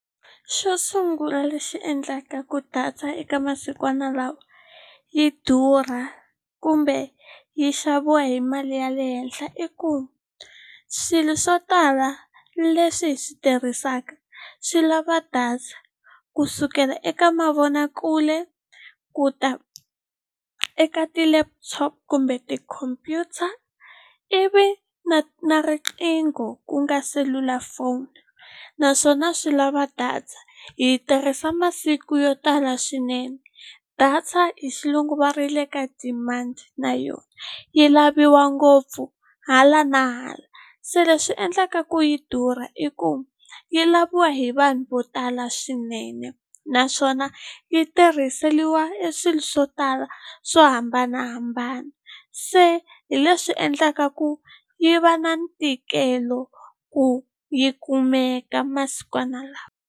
Xo sungula lexi endlaka ku data eka masikwana lawa yi durha kumbe yi xaviwa hi mali ya le henhla i ku swilo swo tala leswi hi swi tirhisaka swi lava data ku sukela eka mavonakule ku ta eka ti-laptop kumbe tikhompyuta ivi na na riqingho ku nga selulafoni naswona swi lava data hi yi tirhisa masiku yo tala swinene data hi xilungu va ri yi le ka demand na yona yi laviwa ngopfu hala na hala se leswi endlaka ku yi durha i ku yi laviwa hi vanhu vo tala swinene naswona yi tirhiseliwa e swilo swo tala swo hambanahambana se hi leswi endlaka ku yi va na ntikelo ku yi kumeka masikwana lawa.